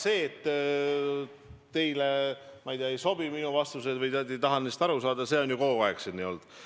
See, et teile, ma ei tea, ei sobi minu vastused või te ei taha nendest aru saada, on ju kogu aeg siin olnud.